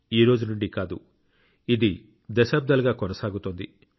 ఈ రోజు నుండి కాదు ఇది దశాబ్దాలుగా కొనసాగుతోంది